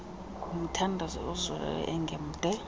ngomthandazo ozolileyo engemde